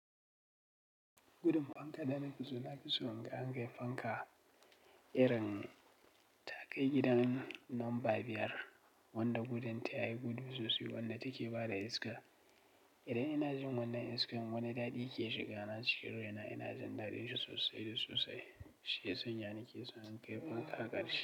Irin fankar da nike so na fi son in ga an kai fanka irin ta kai gidan lamba biyar wanda gudun ta yayi gudu sossai. Wanda ta ke bada iska idan ina jin wannan iskar wani daɗi ke shiga na, ina jin daɗin shi sossai da sossai, shiyasan ya na ke son in kai fanka ƙarshe.